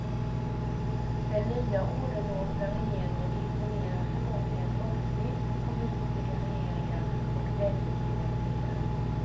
Den nya åderlåtna regeringen imponerar förmodligen måttligt på västliga regeringar och penninginrättningar.